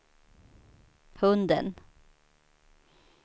hunden